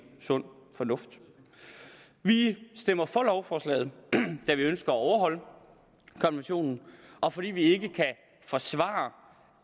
sund fornuft vi stemmer for lovforslaget da vi ønsker at overholde konventionen og fordi vi ikke kan forsvare